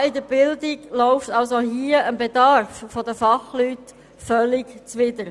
Sparen bei der Bildung läuft also hier dem Bedarf nach Fachleuten völlig zuwider.